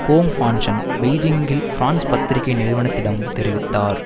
கோங் ஃபான்ஷன் பெய்ஜிங்கில் பிரான்ஸ் பத்திரிக்கை நிறுவனத்திடம் தெரிவித்தார்